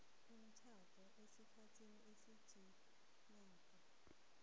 komtjhado esikhathini esiziinyanga